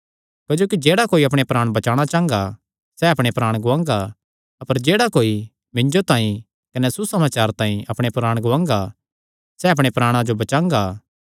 क्जोकि जेह्ड़ा कोई अपणे प्राण बचाणा चांह़गा सैह़ अपणे प्राण गुआंगा अपर जेह्ड़ा कोई मिन्जो तांई कने सुसमाचार तांई अपणे प्राण गुआंगा सैह़ अपणे प्राणा जो बचांगा